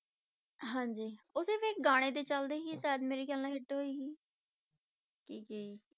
ਹਾਂਜੀ ਉਹ ਸਿਰਫ਼ ਇੱਕ ਗਾਣੇ ਦੇ ਚੱਲਦੇ ਹੀ ਸ਼ਾਇਦ ਮੇਰੇ ਖਿਆਲ hit ਹੋਈ ਸੀ ਕੀ ਸੀ